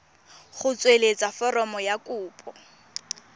go tsweletsa foromo ya kopo